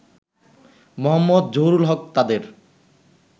মো. জহুরুল হক তাদের